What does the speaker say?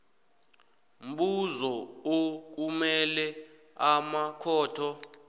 mbuzo okumele amakhotho